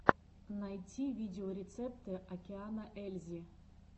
найти видеорецепты океана ельзи